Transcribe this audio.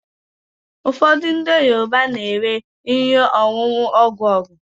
ụfọdụ ndị Yoruba na-ere ihe ọṅụṅụ ogwu ọgwụ